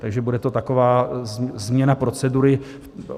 Takže to bude taková změna procedury.